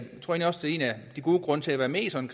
en af de gode grunde til at være med i sådan